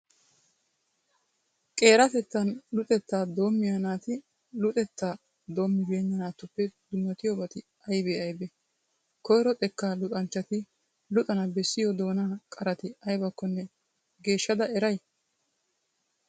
Qeeratettan luxettaa doommiya naati luxettaa doommibeenna naatuppe dummatiyobati aybee aybee? Koyro xekkaa luxanchchati luxana bessiyo doonaa qarati aybakkonne geeshshada eray?